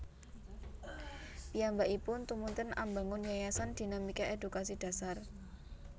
Piyambakipun tumunten ambangun Yayasan Dinamika Edukasi Dasar